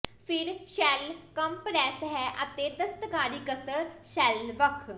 ਫਿਰ shell compress ਹੈ ਅਤੇ ਦਸਤਕਾਰੀ ਕਸਰ ਸੈੱਲ ਵੱਖ